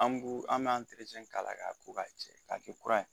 An b'u an b'an k'a la ka ko k'a jɛ k'a kɛ kura ye